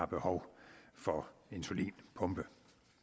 behov for insulinpumpe